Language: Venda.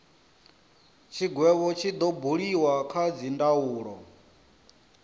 tshigwevho tshi do buliwa kha dzindaulo